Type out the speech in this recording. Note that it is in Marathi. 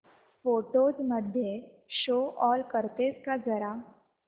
फोटोझ मध्ये शो ऑल करतेस का जरा